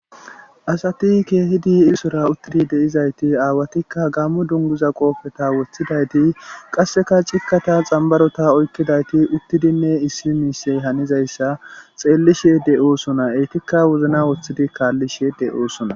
asati keehidi isora uttidi deizayti aawatikka gammu dunguza qoofeta woththidayti qasseka cikkata xambarota oykkidayti uttidinne issi miisey hanizayssa xeellishe de7oosona eytikka wozna woththidi kaallishe de7oosona